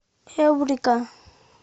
эврика